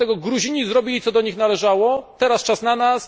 Wobec tego Gruzini zrobili, co do nich należało, teraz czas na nas.